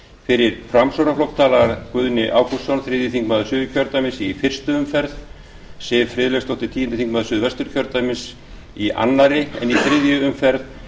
fyrir framsóknarflokk talar guðni ágústsson þriðji þingmaður suður í fyrstu umferð siv friðleifsdóttir tíundi þingmaður suðvesturkjördæmis í annarri umferð en í þriðju umferð